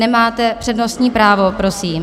Nemáte přednostní právo prosím.